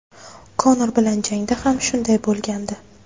Konor bilan jangda ham shunday bo‘lgandi.